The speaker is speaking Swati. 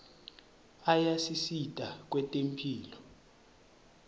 ayasisita kwetemphilo